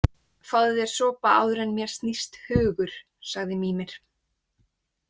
Fáðu þér sopa áður en mér snýst hugur, sagði Mímir.